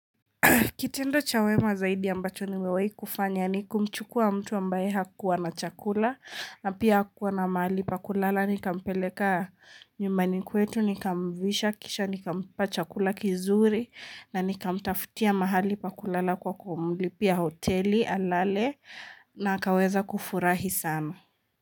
Kitendo cha wema zaidi ambacho nimewahi kufanya ni kumchukua mtu ambaye hakuwa na chakula na pia hakuwa na mahali pakulala. Nika mpeleka nyumbani kwetu, nika mvisha kisha, nikampa chakula kizuri na nikamtafutia mahali pakulala kwa kumlipia hoteli alale na akaweza kufurahi sana.